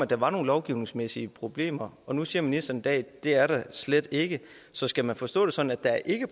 der var nogle lovgivningsmæssige problemer og nu siger ministeren i dag at det er der slet ikke så skal man forstå det sådan at der ikke